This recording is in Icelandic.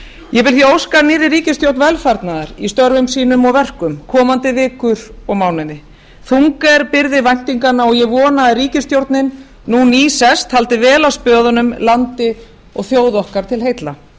ég vil því óska nýrri ríkisstjórn velfarnaðar í störfum sínum og verkum komandi vikur og mánuði þung er byrði væntinganna og ég vona að ríkisstjórnin nú nýsest haldi vel á spöðunum landi og þjóð okkar til heilla